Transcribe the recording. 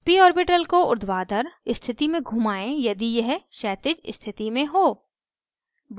p orbital को ऊर्ध्वाधर स्थिति में घुमाएं यदि यह क्षैतिज स्थिति में हो